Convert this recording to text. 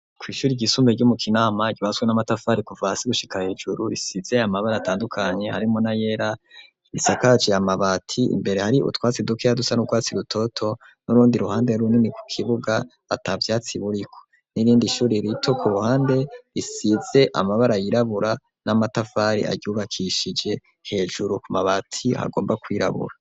Kw'ishuri ryisumbuye ryo mu Kinama ryubatswe n'amatafari kuva hasi gushika hejuru, risize amabara atandukanye harimwo n'ayera. Risakaje amabati, imbere hari utwatsi dukeya dusa n'urwatsi rutoto, n'urundi ruhande runini ku kibuga atavyatsi buriko. N'irindi ishuri rito ku ruhande, risize amabara yirabura n'amatafari ayubakishije hejuru ku mabati hagomba kwirabura.